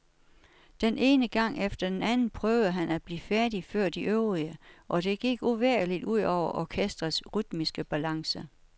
Den ene gang efter den anden prøvede han at blive færdig før de øvrige, og det gik uvægerligt ud over orkestrets rytmiske balance.